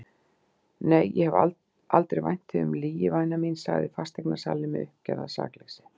Nei, ég hef aldrei vænt þig um lygi væna mín, sagði fasteignasalinn með uppgerðar sakleysi.